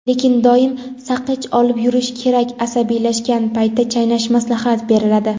Lekin doim saqich olib yurish kerak asabiylashgan paytda chaynash maslahat beriladi.